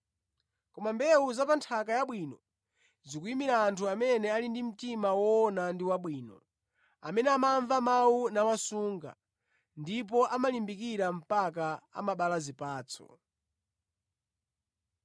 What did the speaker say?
Koma mbewu za pa nthaka yabwino zikuyimira anthu amene ali ndi mtima woona ndi wabwino, amene amamva mawu nawasunga, ndipo amalimbikira mpaka amabala zipatso.